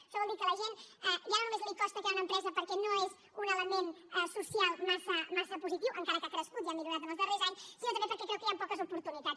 això vol dir que a la gent ja no només li costa crear una empresa perquè no és un element social massa positiu encara que ha crescut i ha millorat en els darrers anys sinó també perquè creu que hi han poques oportunitats